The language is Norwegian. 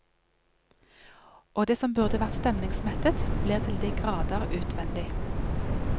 Og det som burde vært stemningsmettet, blir til de grader utvendig.